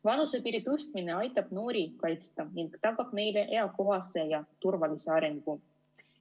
Vanusepiiri tõstmine aitab noori kaitsta ning tagab neile eakohase ja turvalise arengu.